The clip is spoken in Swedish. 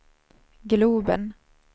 globen